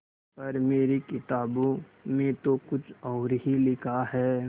पर मेरी किताबों में तो कुछ और ही लिखा है